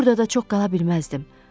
Burda da çox qala bilməzdim.